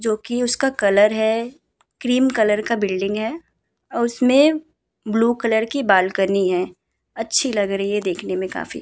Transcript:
जो की उसका कलर है। क्रीम कलर का बिल्डिंग है और उसमे ब्लू कलर की बालकनी है। अच्छी लग रही है देखने मे काफी।